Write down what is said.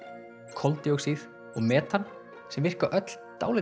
koldíoxíð og metan sem virka öll dálítið